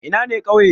Ina ne ƙauye?